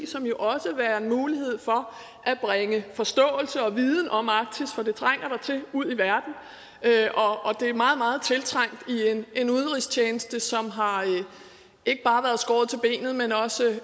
som jo også vil være en mulighed for at bringe forståelse og viden om arktis for det trænger der til ud i verden det er meget meget tiltrængt i en udenrigstjeneste som ikke bare